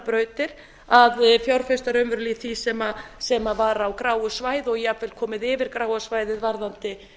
brautir að fjárfesta raunverulega í því sem var á gráu svæði og jafnvel komið yfir gráa svæðið varðandi